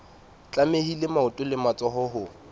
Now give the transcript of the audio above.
tlamehile maoto le matsoho ho